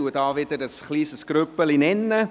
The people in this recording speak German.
Ich nenne wieder ein kleines Grüppchen.